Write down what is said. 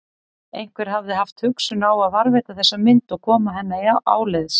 Einhver hafði haft hugsun á að varðveita þessa mynd og koma henni áleiðis.